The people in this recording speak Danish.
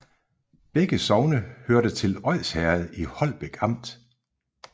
Begge sogne hørte til Odsherred i Holbæk Amt